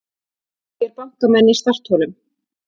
Segir bankamenn í startholum